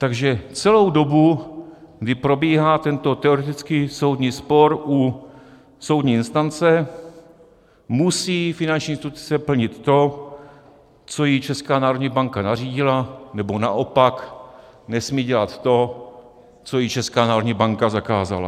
Takže celou dobu, kdy probíhá tento teoretický soudní spor u soudní instance, musí finanční instituce plnit to, co jí Česká národní banka nařídila, nebo naopak nesmí dělat to, co jí Česká národní banka zakázala.